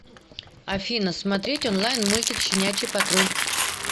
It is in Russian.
афина смотреть онлайн мультик щенячий патруль